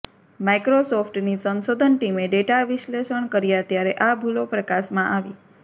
માઇક્રોસોફ્ટની સંશોધન ટીમે ડેટા વિશ્લેષણ કર્યા ત્યારે આ ભૂલો પ્રકાશમાં આવી